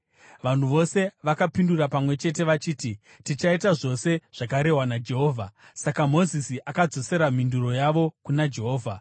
Vanhu vose vakapindura pamwe chete vachiti, “Tichaita zvose zvakarehwa naJehovha.” Saka Mozisi akadzosera mhinduro yavo kuna Jehovha.